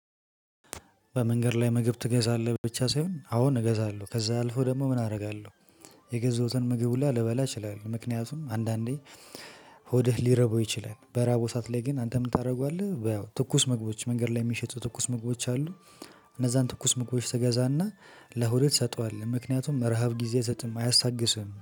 በመንገድ ላይ ምግብ ትገዛለህ ብቻ ሳይሆን አሁን እገዛለሁ ከዛ አልፎ ደግሞ ምን አደርጋለሁ። የገዘሁትን ምግብ ሁላ ልበላ እችላለሁ። ምክንያቱም አንዳንዴ ሆድህ ሊርበው ይችላል በራበው ሰዓት ላይ ግን አንተ ምን ታደርገዋለህ? ያው ትኩስ ምግቦች መንገድ ላይ የሚሸጡ ትኩስ ምግቦች አሉ። እነዛን ትኩስ ምግቦች ትገዛና ለሆድህ ትሰጠዋለህ ምክንያቱም ረሃብ ጊዜ አይሰጥም አያስታግስህም